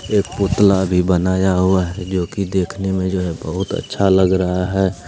एक पुतला भी बनाया हुआ है जो कि देखने में जो है बहोत अच्छा लग रहा है।